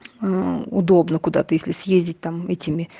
удобно куда-то если съездить там этими